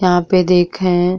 यहाँ पे देखें।